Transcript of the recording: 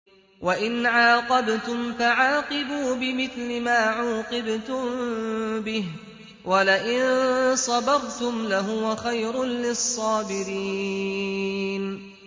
وَإِنْ عَاقَبْتُمْ فَعَاقِبُوا بِمِثْلِ مَا عُوقِبْتُم بِهِ ۖ وَلَئِن صَبَرْتُمْ لَهُوَ خَيْرٌ لِّلصَّابِرِينَ